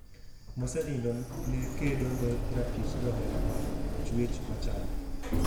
Mosenindo nekedo ne ratich johera mag chwech machal.